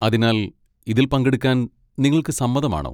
അതിനാൽ, ഇതിൽ പങ്കെടുക്കാൻ നിങ്ങൾക്ക് സമ്മതമാണോ?